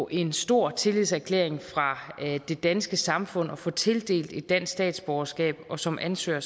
en stor tillidserklæring fra det danske samfund at få tildelt et dansk statsborgerskab og som ansøger